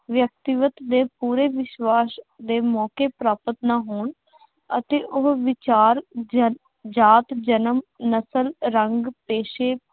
ਵਿਅਕਤੀਵਤ ਤੇ ਪੂਰੇ ਵਿਸ਼ਵਾਸ਼ ਦੇ ਮੌਕੇ ਪ੍ਰਾਪਤ ਨਾ ਹੋਣ ਅਤੇ ਉਹ ਵਿਚਾਰ, ਜਾਤ, ਜਨਮ, ਨਸਲ, ਰੰਗ, ਪੇਸ਼ੇ